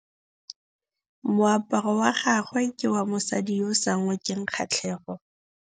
Moaparô wa gagwe ke wa mosadi yo o sa ngôkeng kgatlhegô.